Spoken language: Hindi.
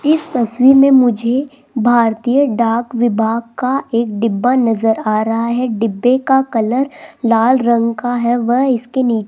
इस तस्वीर में मुझे भारतीय डाक विभाग का एक डिब्बा नजर आ रहा है डिब्बे का कलर लाल रंग का है व इसके नी --